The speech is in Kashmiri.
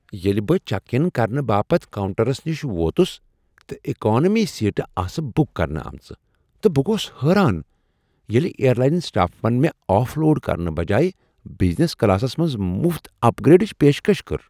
ییلہٕ بہٕ چیک اِن کرنہٕ باپت کاونٛٹرس نش ووتس تہٕ اکانومی سیٹہٕ آسہٕ بک کرنہٕ آمژٕ، تہٕ بہٕ گوس حٲران ییلہٕ اییر لاین سٹافن مےٚ آف لوڈ کرنہٕ بجایہ بزنس کلاسس منٛز مفت اپ گریڈچ پیشکش کٔر۔